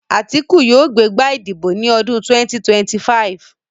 Àtíkù yóò gbé gbá ìdìbò ní ọdún 2025